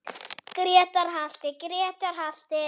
Grétar halti, Grétar halti!